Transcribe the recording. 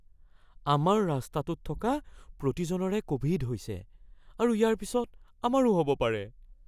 আমাৰ ৰাস্তাটোত থকা প্ৰতিজনৰে ক'ভিড হৈছে আৰু ইয়াৰ পিছত আমাৰো হ'ব পাৰে।